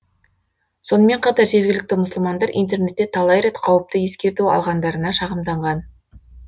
сонымен қатар жергілікті мұсылмандар интернетте талай рет қауіпті ескерту алғандарына шағымданған